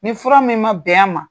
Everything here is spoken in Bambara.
Ni fura min ma bɛn à ma.